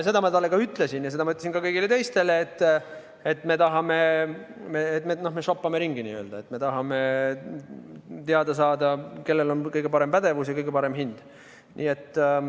Ma ütlesin talle ja ütlesin ka kõigile teistele, et me n-ö šoppame ringi, me tahame teada saada, kellel on kõige suurem pädevus ja kõige parem hind.